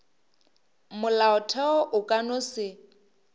molaotheo o ka no se